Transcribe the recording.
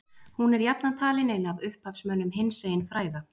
hún er jafnan talin ein af upphafsmönnum hinsegin fræða